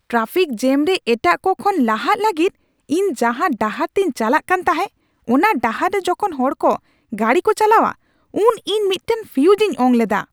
Traffic jam ᱨᱮ ᱮᱴᱟᱜ ᱠᱚ ᱠᱷᱚᱱ ᱞᱟᱦᱟᱜ ᱞᱟᱹᱜᱤᱫ ᱤᱧ ᱡᱟᱦᱟᱸ ᱰᱟᱦᱟᱨ ᱛᱤᱧ ᱪᱟᱞᱟᱜ ᱠᱟᱱ ᱛᱟᱦᱮᱸ, ᱚᱱᱟ ᱰᱟᱦᱟᱨ ᱨᱮ ᱡᱚᱠᱷᱚᱱ ᱦᱚᱲ ᱠᱚ ᱜᱟᱹᱰᱤᱠᱚ ᱪᱟᱞᱟᱣᱟ ᱩᱱᱫᱚ ᱤᱧ ᱢᱤᱫᱴᱟᱝ ᱯᱷᱤᱭᱩᱡᱽ ᱤᱧ ᱚᱝ ᱞᱮᱫᱟ ᱾